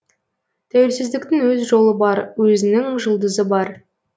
тәуелсіздіктің өз жолы бар өзінің жұлдызы бар